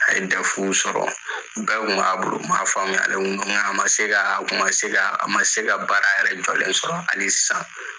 A ye dɛfu sɔrɔ, o bɛɛ tkun m'a bolo, maa faamuyalen kun no, nka a ma se ka, a kun ma se ka, a ma se ka baara yɛrɛ jɔlen sɔrɔ hali sisan.